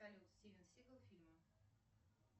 стивен сигал фильмы